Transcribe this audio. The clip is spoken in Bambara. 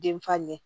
Den fa ɲɛ